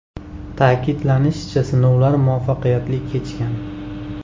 Ta’kidlanishicha, sinovlar muvaffaqiyatli kechgan.